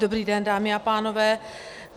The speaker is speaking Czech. Dobrý den, dámy a pánové.